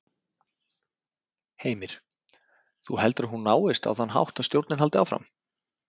Heimir: Þú heldur að hún náist á þann hátt að stjórnin haldi áfram?